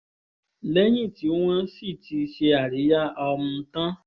lẹ́yìn tí wọ́n sì ti ṣe àríyá um tán